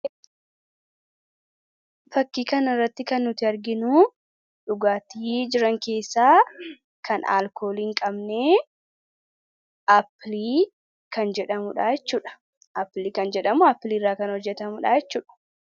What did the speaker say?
Fakkii kana irratti kan nuti arginu dhugaatii jiran keessaa kan alkoolii hin qabne aappilii kan jedhamuudha jechuudha. Aappilii irraa kan hojjetamuudha jechuudha.